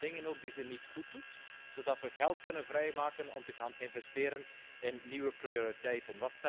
Schrappen in de dingen ook die ze niet goed doet, zodat we geld kunnen vrijmaken om te gaan investeren in nieuwe prioriteiten?